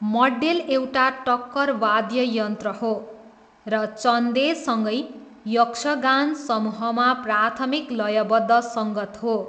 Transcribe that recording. मड्डेल एउटा टक्कर वाद्ययन्त्र हो र, चन्देसँगै, यक्षगान समूहमा प्राथमिक लयबद्ध सङ्गत हो।